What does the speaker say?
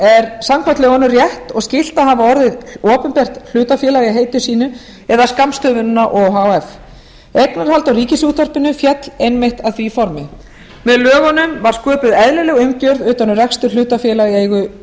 er samkvæmt lögunum rétt og skylt að hafa orðið opinbert hlutafélag í heiti sínu eða skammstöfunina o h f eignarhald á ríkisútvarpinu féll einmitt að því formi með lögunum var sköpuð eðlileg umgjörð utan um rekstur hlutafélaga í eigu